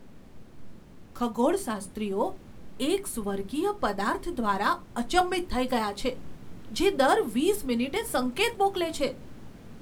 ખગોળશાસ્ત્રીઓ એક સ્વર્ગીય પદાર્થ દ્વારા અચંબિત થઈ ગયા છે, જે દર વીસ મિનિટે સંકેત મોકલે છે.